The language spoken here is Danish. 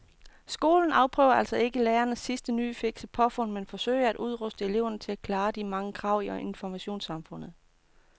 Skolen afprøver altså ikke lærernes sidste nye fikse påfund men forsøger at udruste eleverne til at klare de mange krav i informationssamfundet.